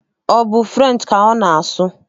Ọ bụ french ka ọ na-asụ.